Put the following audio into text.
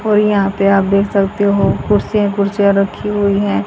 और यहां पे आप देख सकते हो कुर्सियां ही कुर्सियां रखी हुई हैं।